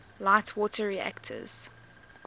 light water reactors